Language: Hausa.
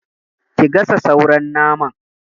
Ki gasa sauran naman!